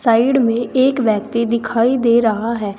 Side में एक व्यक्ति दिखाई दे रहा है।